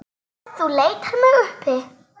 Ef þú leitar mig uppi.